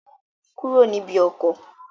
Kúrò níbi ọkọ̀!